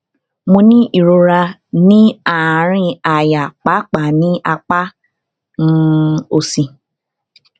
mo ń ní ìrora ní àárín àyà pàápàá ní apá um òsì